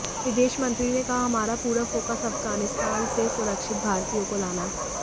विदेश मंत्री ने कहा हमारा पूरा फोकस अफगानिस्तान से सुरक्षित भारतीय को लाना